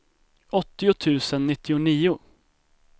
åttio tusen nittionio